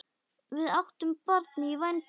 Við áttum barn í vændum.